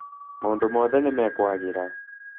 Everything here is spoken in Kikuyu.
Maũndũ mothe nĩmekwagĩrĩra